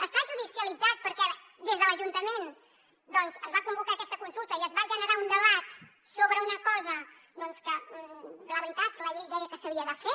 està judicialitzat perquè des de l’ajuntament es va convocar aquesta consulta i es va generar un debat sobre una cosa que la veritat la llei deia que s’havia de fer